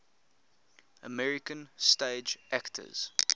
american stage actors